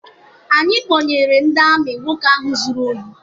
Anyị kpọnyere ndị amị nwoke ahụ zụrụ ohi